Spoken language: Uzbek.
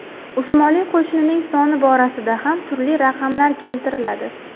Usmonli qo‘shinining soni borasida ham turli raqamlar keltiriladi.